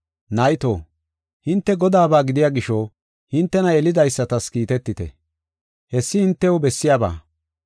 Nayto, hinte Godaaba gidiya gisho hintena yelidaysatas kiitetite. Hessi hintew bessiyaba.